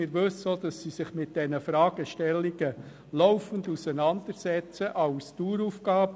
Wir wissen auch, dass sie sich mit diesen Fragestellungen laufend auseinandersetzt – als Daueraufgabe.